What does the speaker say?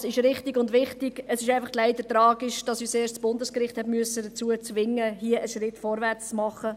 Dies ist richtig und wichtig, aber es ist tragisch, dass uns das Bundesgericht dazu zwingen musste, hier einen Schritt vorwärtszugehen.